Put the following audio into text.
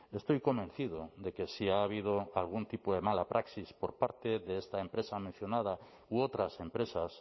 estoy convencido de que si ha habido algún tipo de mala praxis por parte de esta empresa mencionada u otras empresas